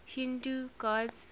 hindu gods